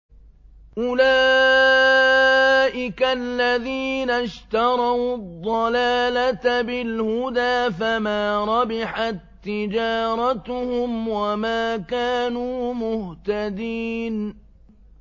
أُولَٰئِكَ الَّذِينَ اشْتَرَوُا الضَّلَالَةَ بِالْهُدَىٰ فَمَا رَبِحَت تِّجَارَتُهُمْ وَمَا كَانُوا مُهْتَدِينَ